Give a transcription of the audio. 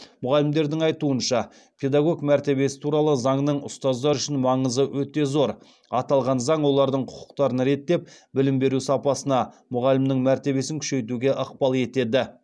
мұғалімдердің айтуынша педагог мәртебесі туралы заңның ұстаздар үшін маңызы өте зор аталған заң олардың құқықтарын реттеп білім беру сапасына мұғалімнің мәртебесін күшейтуге ықпал етеді